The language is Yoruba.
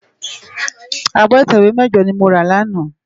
Ábò itèwé mèjò ni mó rá làná